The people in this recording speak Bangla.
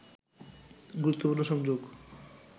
গুরুত্বপূর্ণ সংযোগ